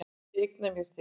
Ég eigna mér þig.